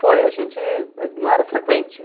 Foi, a gente ah não era frequente.